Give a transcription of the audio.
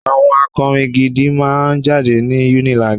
àwọn akọrin gidi máà ń jáde ní UNILAG